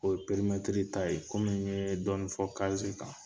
O ye perimɛtiri ta ye kɔmi n yee dɔɔni fɔ kan.